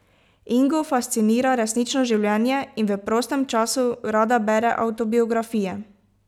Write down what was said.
Ingo fascinira resnično življenje in v prostem času rada bere avtobiografije.